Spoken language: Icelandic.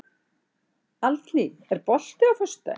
Aldný, er bolti á föstudaginn?